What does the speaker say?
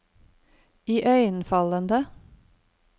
iøynefallende